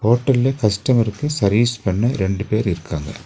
ஹோட்டல்ல கஸ்டமர்க்கு சர்வீஸ் பண்ண ரெண்டு பேர் இருக்காங்க.